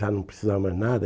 Já não precisava mais nada.